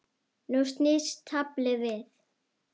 Nú snýst taflið við.